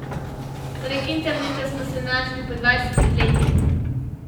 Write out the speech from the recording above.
Prek interneta smo se našli po dvajsetih letih.